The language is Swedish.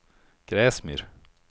Gräsmyr